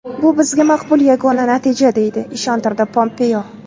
Bu bizga maqbul yagona natija”, deya ishontirdi Pompeo.